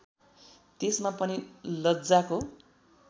त्यसमा पनि लज्जाको